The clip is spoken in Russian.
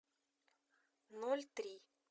ноль три